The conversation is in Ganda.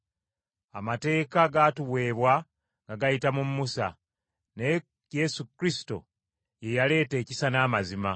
Amateeka gaatuweebwa nga gayita mu Musa, naye Yesu Kristo ye yaaleeta ekisa n’amazima.